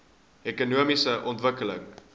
ekonomiese ontwikkeling